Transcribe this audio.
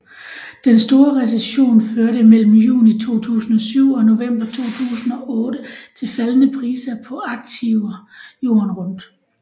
Den store recession førte mellem juni 2007 og november 2008 til faldende priser på aktiver jorden rundt